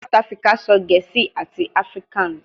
South Africa sọ Gẹẹsi ati afrikaans